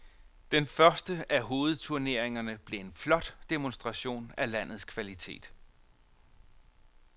Den første af hovedturneringerne blev en flot demonstration af landets kvalitet.